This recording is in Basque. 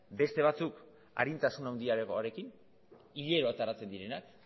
beste batzuk arintasun handiagoarekin hilero ateratzen direnak